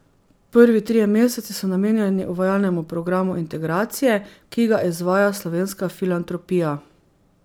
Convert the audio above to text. Prvi trije meseci so namenjeni uvajalnemu programu integracije, ki ga izvaja Slovenska filantropija.